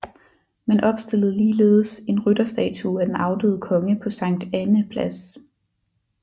Man opstillede ligeledes en rytterstatue af den afdøde konge på Sankt Annæ Plads